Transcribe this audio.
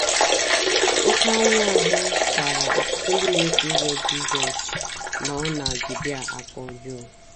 Oké anwụahụ kpara ọtụtụ ndị na - eso ụzọ Jizọs nọ na Judia aka ọjọọ.